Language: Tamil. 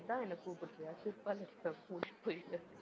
இதுதான் என்னை கூப்படுறியா? செருப்பால அடிப்பேன் மூடிட்டு போயிடு.